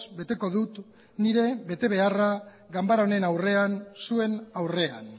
beteko dut nire betebeharra ganbara honen aurrean zuen aurrean